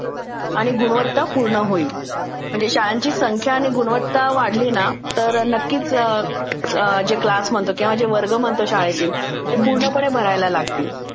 गुणवत्तापूर्ण होईल. म्हणजे शाळेची संख्या आणि गुणवत्ता वाढली ना तर नक्कीच जे क्लास म्हणते किंवा जे वर्ग म्हणतो शाळेचे ते पूर्णपणे भरायला लागतील